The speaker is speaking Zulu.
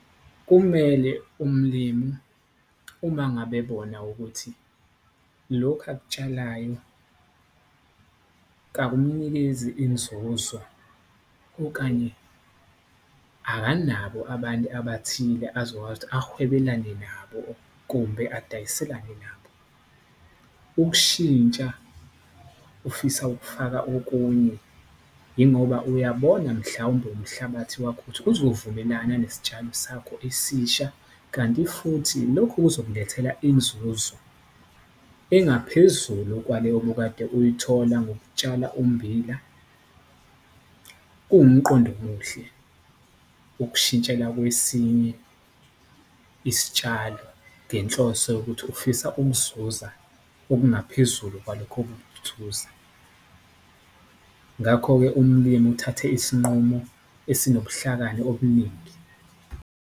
Kumele umlimi uma ngabe bona ukuthi lokhu akutshalayo kakumnikezi inzuzo okanye akanabo abantu abathile azokwazi ukuthi awahwebelane nabo, kumbe adayiselane nabo. Ukushintsha ufisa ukufaka okunye ingoba uyabona mhlawumbe umhlabathi wakho ukuthi uzovumelana nesitshalo sakho esisha, kanti futhi lokhu kuzomlethela inzuzo engaphezulu kwaleyo obukade uyithola ngokutshala ummbila. Kuwumqondo omuhle ukushintshela kwesinye isitshalo ngenhloso yokuthi ufisa ukuzuza okungaphezulu kwalokho , ngakho-ke umlimi uthathe isinqumo esinobuhlakani obuningi.